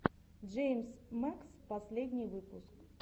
джеймс мэкс последний выпуск